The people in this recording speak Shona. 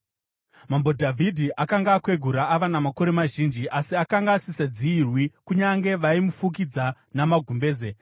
Mambo Dhavhidhi akanga akwegura, ava namakore mazhinji, asi akanga asingadziyirwi kunyange vaimufukidza namagumbeze.